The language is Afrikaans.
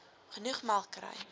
genoeg melk kry